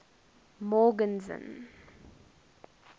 morgenzon